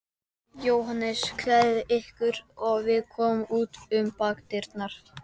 JÓHANNES: Klæðið ykkur og við komum út um bakdyrnar.